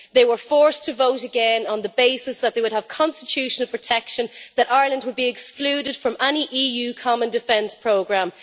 They were forced to vote again on the basis that they would have constitutional protection that Ireland would be excluded from any EU common defence programme.